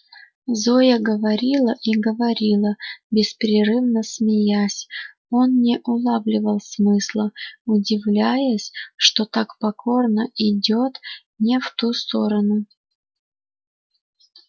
зоя говорила и говорила беспрерывно смеясь он не улавливал смысла удивляясь что так покорно идёт не в ту сторону